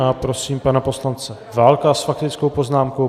A prosím pana poslance Válka s faktickou poznámkou.